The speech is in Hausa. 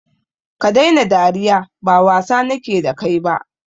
Stop laughing, I don't intend to joke with you